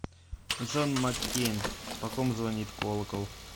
джон маккейн по ком звонит колокол